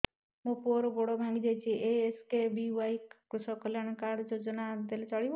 ମୋ ପୁଅର ଗୋଡ଼ ଭାଙ୍ଗି ଯାଇଛି ଏ କେ.ଏସ୍.ବି.ୱାଇ କୃଷକ କଲ୍ୟାଣ ଯୋଜନା କାର୍ଡ ଟି ଦେଲେ ଚଳିବ